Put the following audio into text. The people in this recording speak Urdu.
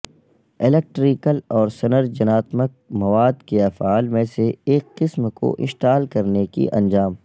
الیکٹریکل اور سنرچناتمک مواد کے افعال میں سے ایک قسم کو انسٹال کرنے کی انجام